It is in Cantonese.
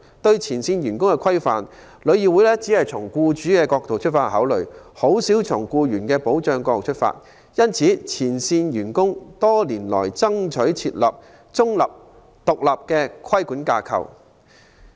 對前線員工的規範，旅議會只從僱主的角度考慮，較少從保障僱員的角度出發。因此，前線員工多年來爭取設立中立、獨立的規管架構。